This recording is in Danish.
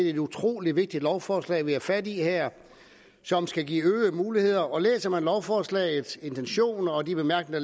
et utrolig vigtigt lovforslag vi har fat i her som skal give øgede muligheder læser man lovforslagets intention og de bemærkninger